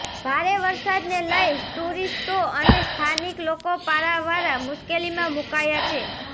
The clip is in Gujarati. ભારે વરસાદને લઈ ટુરીસ્ટો અને સ્થાનિક લોકો પારાવાર મુશ્કેલીમાં મુકાયા છે